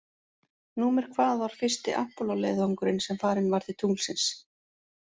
Númer hvað var fyrsti Apollo leiðangurinn sem farinn var til tunglsins?